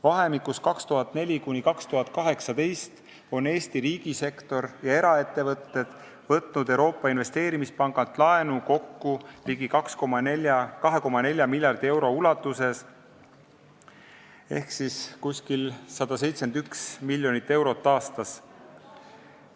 Vahemikus 2004–2018 on Eesti riigisektor ja eraettevõtted võtnud Euroopa Investeerimispangalt laenu kokku ligi 2,4 miljardi euro ulatuses ehk umbes 171 miljonit eurot aastas.